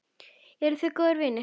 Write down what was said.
Eruð þið góðir vinir?